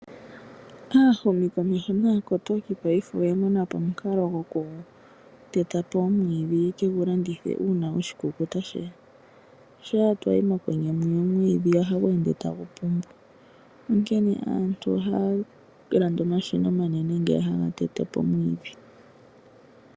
Aahumi komeho naakotoki paife oya mona po omukalo gokuteta po omwiidhi opo yeke gu landithe uuna oshikulya sheya. Shampa yeshi mokwenye mwiya omwiidhi ohagu ende tagu pumbu. Onkene aantu ohaya landa omashina omanene ngeya haga tete po omwiidhi.